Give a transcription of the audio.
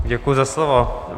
Děkuji za slovo.